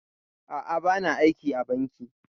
A'a, ba na aiki a banki